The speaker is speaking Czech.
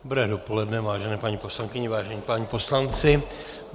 Dobré dopoledne, vážené paní poslankyně, vážení páni poslanci.